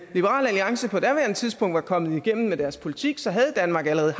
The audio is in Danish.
liberal alliance på daværende tidspunkt var kommet igennem med deres politik havde danmark allerede